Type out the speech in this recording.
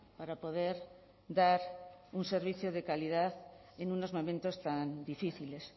para poder dar un servicio de calidad en unos momentos tan difíciles